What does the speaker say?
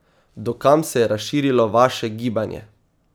Do kam se je razširilo vaše gibanje?